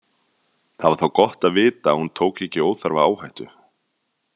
Það var þá gott að vita að hún tók ekki óþarfa áhættu.